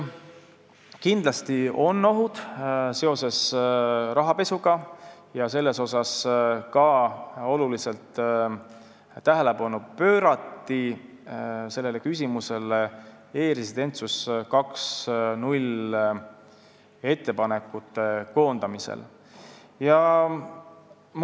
Kindlasti on ohud seoses rahapesuga ja sellele küsimusele pöörati ka suurt tähelepanu e-residentsus 2.0 ettepanekute koondamisel.